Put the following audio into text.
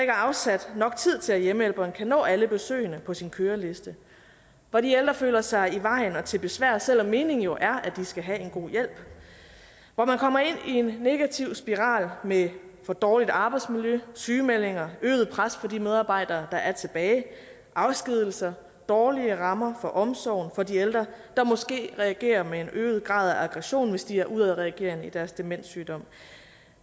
er afsat nok tid til at hjemmehjælperen kan nå alle besøgene på sin køreliste hvor de ældre føler sig i vejen og til besvær selv om meningen jo er at de skal have en god hjælp hvor man kommer ind i en negativ spiral med for dårligt arbejdsmiljø sygemeldinger øget pres på de medarbejdere der er tilbage afskedigelser dårlige rammer for omsorgen for de ældre der måske reagerer med en øget grad af aggression hvis de er udadreagerende i deres demenssygdom